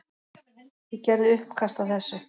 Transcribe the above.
Ég gerði uppkast að þessu.